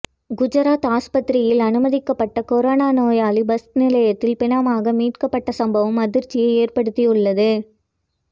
குஜராத் ஆஸ்பத்திரியில் அனுமதிக்கப்பட்ட கொரோனா நோயாளி பஸ் நிலையத்தில் பிணமாக மீட்கப்பட்ட சம்பவம் அதிர்ச்சியை ஏற்படுத்தியுள்ளது